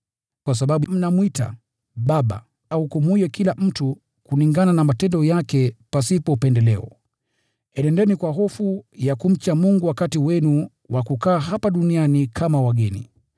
Kwa sababu mnamwita Baba ahukumuye kila mtu kulingana na matendo yake pasipo upendeleo, enendeni kwa hofu ya kumcha Mungu wakati wenu wa kukaa hapa duniani kama wageni.